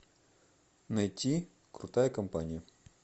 найти крутая компания